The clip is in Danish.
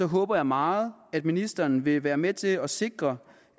håber jeg meget at ministeren vil være med til at sikre